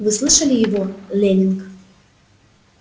вы слышали его лэннинг